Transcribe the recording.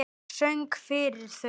Söng fyrir þau.